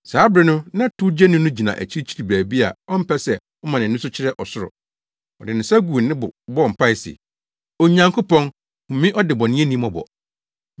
“Saa bere no na towgyeni no gyina akyiri baabi a ɔmpɛ sɛ ɔma nʼani so kyerɛ ɔsoro. Ɔde ne nsa guu ne bo bɔɔ mpae se, ‘Onyankopɔn, hu me ɔdebɔneyɛni mmɔbɔ!’